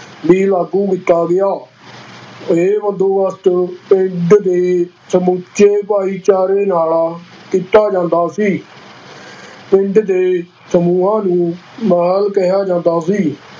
ਵੀ ਲਾਗੂ ਕੀਤਾ ਗਿਆ, ਇਹ ਬੰਦੋਬਸਤ ਨੂੰ ਪਿੰਡ ਦੇ ਸਮੁੱਚੇ ਭਾਈਚਾਰੇ ਨਾਲ ਕੀਤਾ ਜਾਂਦਾ ਸੀ ਪਿੰਡ ਦੇ ਸਮੂਹਾਂ ਨੂੰ ਮਹਿਲ ਕਿਹਾ ਜਾਂਦਾ ਸੀ।